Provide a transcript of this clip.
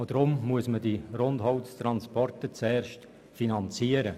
Deshalb müssen die Rundholztransporte zuerst finanziert werden.